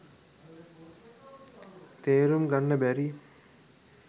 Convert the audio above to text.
තේරුම් ගන්න බැරි